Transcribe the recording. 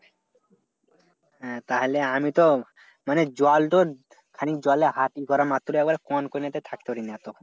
হ্যাঁ তাহলে আমি তো মানে জল তো খানিক জলে হাত ই করা মাত্র আবার কনকনেতে থাকতে পারিনা তখন।